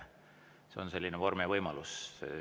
See on selline vorm ja võimalus.